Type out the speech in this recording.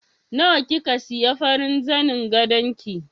Nawa kika siya farin zanin gadon ki?